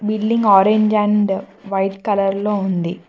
బిలింగ్ orange and white colour లో ఉంది